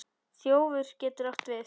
Þjófur getur átt við